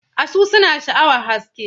Asu suna sha'awar haske.